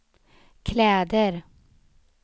kläder